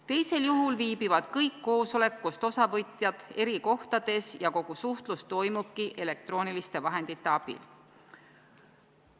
Teisel juhul viibivad kõik koosolekust osavõtjad eri kohtades ja kogu suhtlus toimubki elektrooniliste vahendite abil.